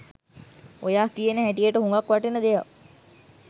ඔයා කියන හැටියට හුගක් වටින දෙයක්.